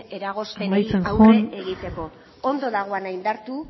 eragozpenei aurre egiteko amaitzean joan ongi dagoena indartu